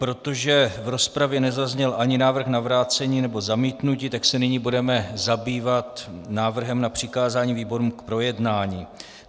Protože v rozpravě nezazněl ani návrh na vrácení nebo zamítnutí, tak se nyní budeme zabývat návrhem na přikázání výborům k projednání.